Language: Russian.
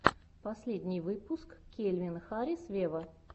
последний выпуск кельвин харрис вево